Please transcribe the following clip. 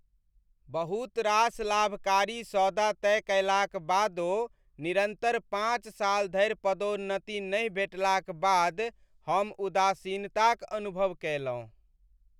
बहुत रास लाभकारी सौदा तय कयलाक बादो निरन्तर पाँच साल धरि पदोन्नति नहि भेटबाक बाद हम उदासीनताक अनुभव कएलहुँ।